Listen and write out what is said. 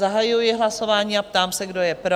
Zahajuji hlasování a ptám se, kdo je pro?